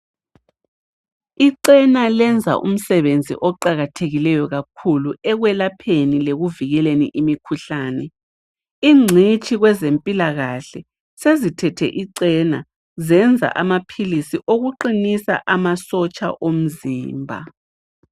Icena lenza umsebenzi oqakathekileyo kakhulu ekwelapheni lekuvikeleni imikhuhlane. Ingcitshi kwezempilakahle sezithethe icena zenza amaphilisi okuqinisa amasotsha omzimba